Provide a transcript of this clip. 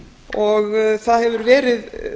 og það hefur verið